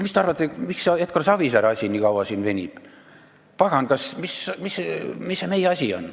Pagan, mis see meie asi on!